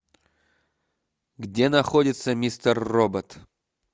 где находится мистер робот